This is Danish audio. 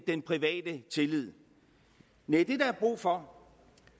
den private tillid næh det der er brug for